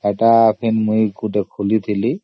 ସେଟା ମୁଁ ଗୋଟିଏ ଖୋଲିଥିଲି